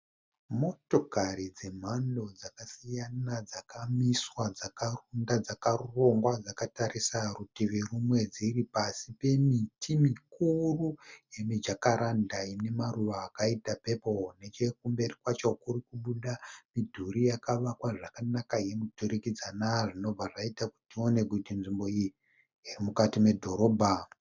Motokari dzemhando dzakasiyana dzakamiswa dzakarunda dzakarongwa dzakatarisa rutivi rumwe dziri pasi pemiti mikuru yemuJacaranda ine maruva akaita pepuru. Nechemberi kwacho kuri kubuda midhuri yakavakwa zvakanaka yemuturikidzana zvinobva zvaita kuti tione kuti nzvimbo iyi iri mukati medhorobha.